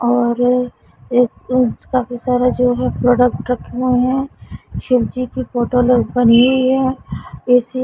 और एक इंच का भी सारा रखे हुए है शिवजी की फोटो ल बनी हुई है इसी।